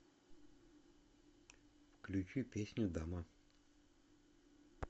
включи песню дама